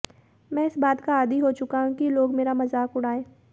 मैं इस बात का आदी हो चुका हूं कि लोग मेरा मज़ाक उड़ाएं